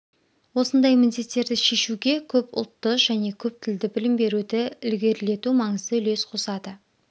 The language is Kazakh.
осындай міндеттерді шешуге көп ұлтты және көп тілді білім беруді ілгерілету маңызды үлес қосады